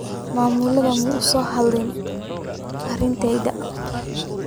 Maamuluhu ma uusan la hadlin ardayda.